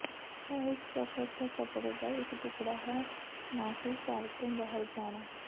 ਇਹ ਇਕ ਸਫ਼ਰ ਦੇ ਕੱਪੜੇ ਦਾ ਇਕ ਟੁਕੜਾ ਹੈ ਨਾ ਕਿ ਘਰ ਤੋਂ ਬਾਹਰ ਜਾਣਾ